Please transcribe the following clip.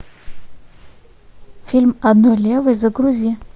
фильм одной левой загрузи